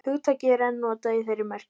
Hugtakið er enn notað í þeirri merkingu.